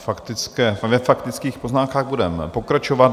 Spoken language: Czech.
Ve faktických poznámkách budeme pokračovat.